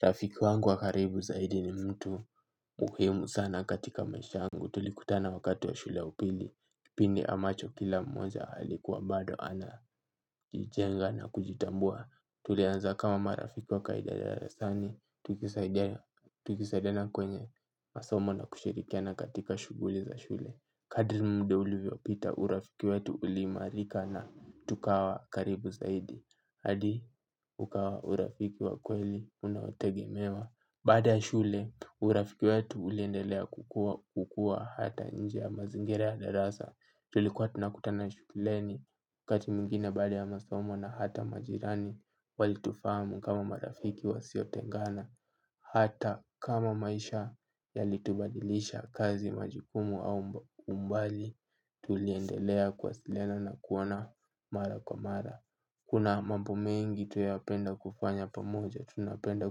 Rafiki wangu wa karibu zaidi ni mtu muhimu sana katika maisha yangu. Tulikutana wakati wa shule ya upili. Pini ambacho kila mmoja alikuwa bado anajijenga na kujitambua. Tulianza kama marafiki wa kawaida darasani tukisaidia. Tukisaidiana kwenye masomo na kushirikiana katika shughuli za shule. Kadiri muda ulivyopita urafiki wetu uliimarika na tukawa karibu zaidi. Hadi ukawa urafiki wa kweli unaotegemewa. Baada ya shule urafiki wetu uliendelea kukua kukua hata nje ya mazingira ya darasa. Tulikuwa tunakutana shuleni kati mwingine baada ya masomo na hata majirani. Walitufahamu kama marafiki wasio tengana. Hata kama maisha yalitubadilisha kazi majikumu au umbali tuliendelea kuwasiliana na kuona mara kwa mara. Kuna mambo mengi tunayapenda kufanya pamoja, tunapenda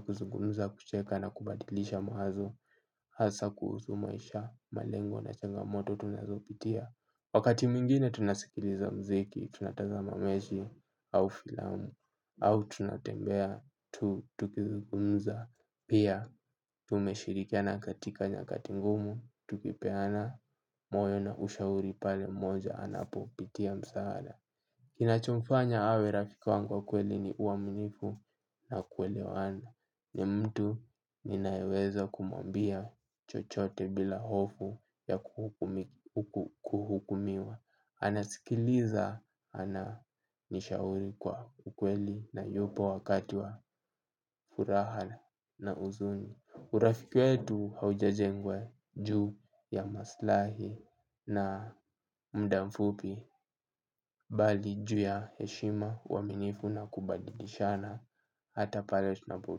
kuzungumza kucheka na kubadilisha mawazo, hasa kuhusu maisha, malengo na changamoto tunazopitia. Wakati mwingine tunasikiliza mziki, tunataza mechi au filamu, au tunatembea, tu, tukizungumza, pia, tumeshirikiana katika nyakati ngumu, tukipeana, moyo na ushauri pale mmoja anapopitia msaada. Kinacho mfanya awe rafiki wangu wa kweli ni uamnifu na kuelewana. Ni mtu ninayeweza kumwambia chochote bila hofu ya kuhukumiwa. Anasikiliza ananishauri kwa kweli na yupo wakati wa furaha na huzuni. Urafiki wetu haujajengwa juu ya maslahi na muda mfupi bali juu ya heshima uaminifu na kubadilishana hata pale tunapo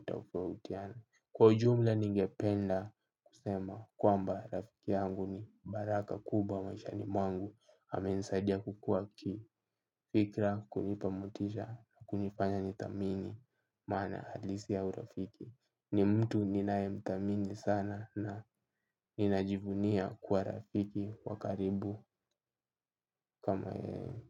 tofautiana. Kwa ujumla ningependa kusema kwamba rafiki yangu ni baraka kubwa maishani mwangu amenisadia kukua kifikra kunipa motisha kunifanya nithamini maana halisi ya urafiki. Ni mtu ninaye mthamini sana na ninajivunia kuwa rafiki wa karibu kama yeye.